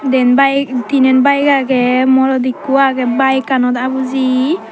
den bayeg tinen bayeg agey morot ikko agey bayeganot abuji.